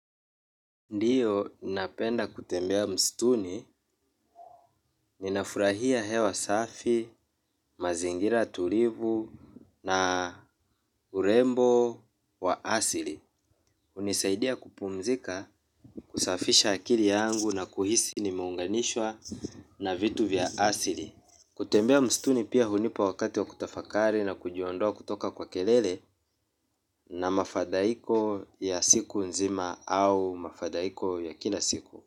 Ndiyo, napenda kutembea msituni, ninafurahia hewa safi, mazingira tulivu na urembo wa asili. Hunisaidia kupumzika, kusafisha akili yangu na kuhisi nimeunganishwa na vitu vya asili. Kutembea msituni pia hunipa wakati wa kutafakari na kujiondoa kutoka kwa kelele na mafadhaiko ya siku nzima au mafadhaiko ya kila siku.